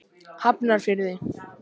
Hafnarfirði